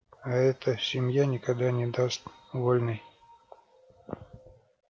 а эта семья никогда не даст вольной